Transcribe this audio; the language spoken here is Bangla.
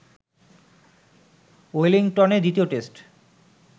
ওয়েলিংটনে দ্বিতীয় টেস্ট